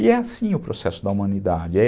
E é assim o processo da humanidade, é